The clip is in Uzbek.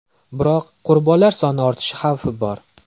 Biroq qurbonlar soni ortishi xavfi bor.